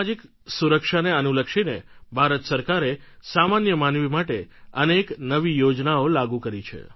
સામાજિક સુરક્ષાને અનુલક્ષીને ભારત સરકારે સામાન્ય માનવી માટે અનેક નવી યોજનાઓ લાગુ કરી છે